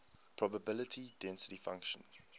probability density function